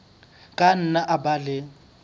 ka nna a ba le